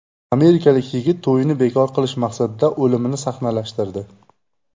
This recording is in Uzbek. Amerikalik yigit to‘yini bekor qilish maqsadida o‘limini sahnalashtirdi.